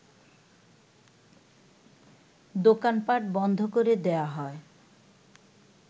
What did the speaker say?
দোকানপাট বন্ধ করে দেয়া হয়